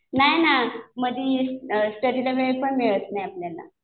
नाही ना. मध्ये स्टडीला वेळ पण मिळत नाही आपल्याला.